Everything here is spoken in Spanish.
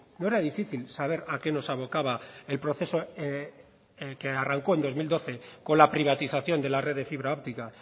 no era difícil saber a qué nos abocaba el proceso en el que arrancó en el dos mil doce con la privatización de la red de fibra óptica